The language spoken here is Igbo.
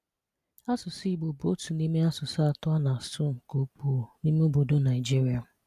Asụsụ Igbo bụ otu n’ime asụsụ atọ a na-asụ nke ukwu n’ime obodo Naịjiria.